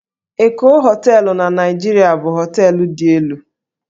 Eko Hóteélụ̀ na Naịjirịa bụ hóteélụ̀ dị elu